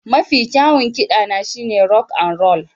Mafi kyawun kiɗana shine rock and roll